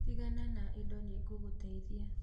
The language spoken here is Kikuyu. Tigana na indo nĩ ngũgũteithia